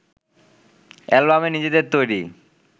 অ্যালবামে নিজেদের তৈরি